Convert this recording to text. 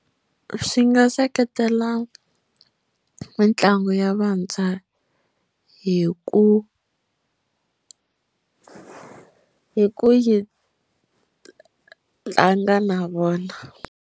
Swi nga seketela mitlango ya vantshwa hi ku hi ku yi tlanga na vona.